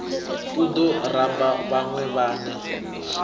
u ḓo ramba vhaṅwe vhane